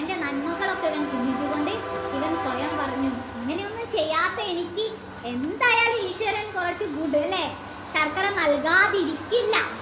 നന്മകളൊക്കെ ഇവൻ ചിന്തിച്ചു കൊണ്ട് ഇവാൻ സ്വയം പറഞ്ഞു ഇങ്ങനെയൊന്നും ചെയ്യാത്ത എനിക്ക് എന്തായാലും ഈശ്വരൻ കൊറച്ചു food അല്ലെ നൽകാതിരിക്കില്ല